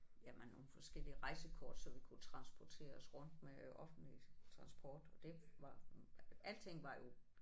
Jamen nogle forskellige rejsekort så vi kunne transportere os rundt med offentlig transport og det var alting var jo